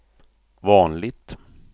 vanligt